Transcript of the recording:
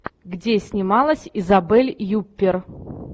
где снималась изабель юппер